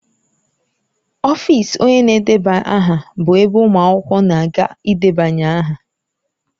Ọfịs onye na-edeba aha bụ ebe ụmụ akwụkwọ na-aga ịdebanye aha.